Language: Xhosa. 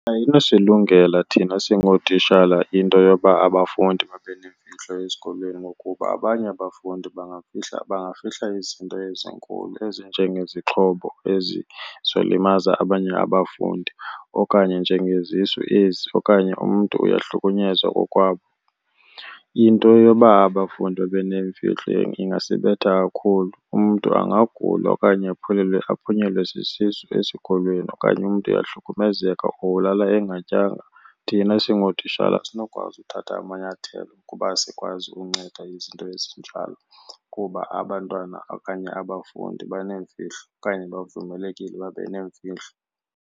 Ayinosilungela thina singootitshala into yoba abafundi babe neemfihlo ezikolweni ngokuba abanye abafundi bangafihla, bangafihla izinto ezinkulu ezinjengezixhobo ezizolimaza abanye abafundi okanye njengezisu ezi okanye umntu uyahlukunyezwa kokwabo. Into yoba abafundi babe neemfihlelo ingasibetha kakhulu. Umntu angagula okanye aphunyelwe sisisu esikolweni okanye umntu uyahlukumezeka or ulala engatyanga, thina singootishala asinokwazi ukuthatha amanyathelo kuba asikwazi ukunceda izinto ezinjalo, kuba abantwana okanye abafundi baneemfihlo okanye bavumelekile babe neemfihlo.